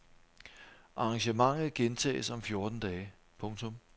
Arrangementet gentages om fjorten dage. punktum